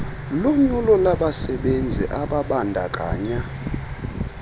lunyulo labasebenzi ababandakanya